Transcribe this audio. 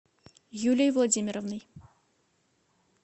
юлией владимировной